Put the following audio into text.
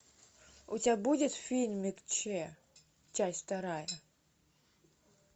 у тебя будет фильмик че часть вторая